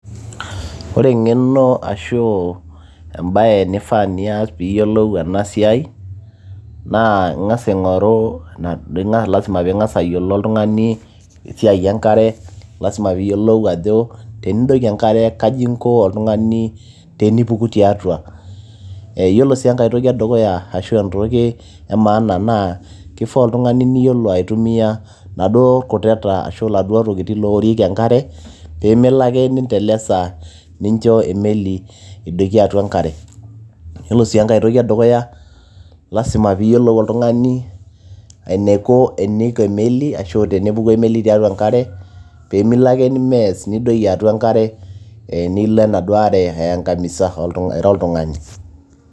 ore eng'eno ashu embaye nifaa nias piiyiolou ena siai naa ing'as aing'oru, naa lasima piing'as oltung'ani aing'oru esiai enkare lasima piiyiolou ajo tenidoiki enkare kaji inko oltung'ani tenipuku tiatua yiolo sii enkay toki edukkuya ashu e maana naa kifaa oltung'ani niyiolo aitumia inaduo kutete ashu iladuo tokitin looworieki enkare peemelo ake nintelesa nincho e meli edoiki atua enkare yiolo sii enkay toki edukuya lasima piiyiolou oltung'ani ainaiko eniko e meli ashu tenepuku emeli tiatua enkare peemilo ake nimess nkilo enaduo are aiangamisa ira oltung'ani.